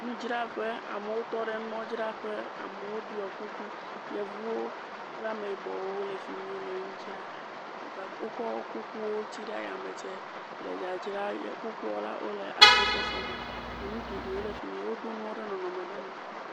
Nudzraƒe amewo tɔ ɖe nuadzraƒe. Amewo ɖɔ kuku. Yevuwo kple ameyibɔwo le fi mi le nudzram. Wo ga wokɔ kukuwo tsi ɖe yame tse le dzadzram kukua la wole agbɔsɔsɔ me. Enu geɖe wo le fi ni. Woɖo nua ɖe nɔnɔme ɖe nu.